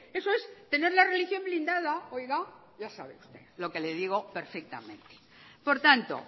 eso es tener la religión blindada oiga ya sabe usted lo que le digo perfectamente por tanto